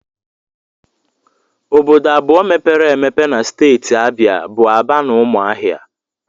Obodo abụọ mepere emepe na steeti Abịa bụ Aba na Ụmụahịa